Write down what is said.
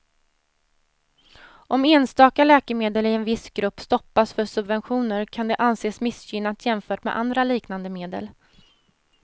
Om enstaka läkemedel i en viss grupp stoppas för subventioner kan det anses missgynnat jämfört med andra liknande medel.